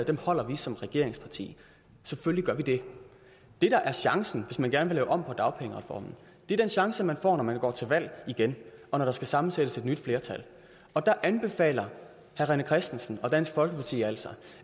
dem holder vi som regeringsparti selvfølgelig gør vi det det der er chancen hvis man gerne vil lave om på dagpengereformen er den chance man får når man går til valg igen og når der skal sammensættes et nyt flertal og der anbefaler herre rené christensen og dansk folkeparti altså